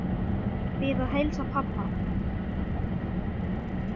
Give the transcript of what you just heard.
Bið að heilsa pabba.